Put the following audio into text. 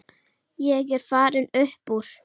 Ég er farinn upp úr.